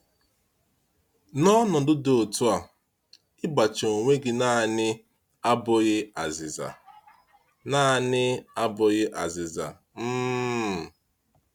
N’ọnọdụ dị otú a, igbachi onwe gị naanị abụghị azịza. naanị abụghị azịza. um